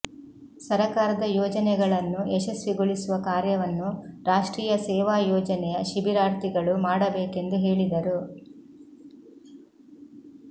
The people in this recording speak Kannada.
ಸರಕಾರದ ಯೋಜನೆಗಳನ್ನು ಯಶಸ್ವಿಗೊಳಿಸುವ ಕಾರ್ಯವನ್ನು ರಾಷ್ಟ್ರೀಯ ಸೇವಾ ಯೋಜನೆಯ ಶಿಬಿರಾರ್ಥಿಗಳು ಮಾಡಬೇಕೆಂದು ಹೇಳಿದರು